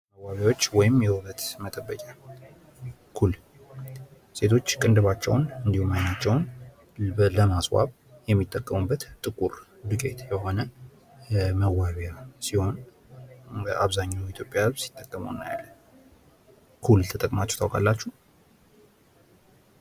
መዋቢያዎች ወይም የውበት መጠበቂያ ኩል ሴቶች ቅንድባቸውን እንድሁም አይናቸውን ለማስዋብ የሚጠቀሙበት ጥቁር ዱቄት የሆነ መዋቢያ ሲሆን አብዛኛው ኢትዮጵያውያን ሲጠቀመው እናያለን። ኩል ተጠቅማችሁ ታውቃላችሁ?